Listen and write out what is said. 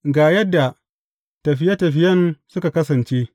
Ga yadda tafiye tafiyen suka kasance.